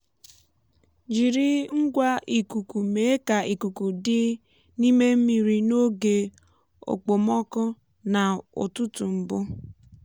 ọnụ ọgụgụ ikuku ume ná-ágbáze n'íme mmiri ga-abụ um nke zuru oke iji kwado mmegharị na iku ume azụ nke ọma.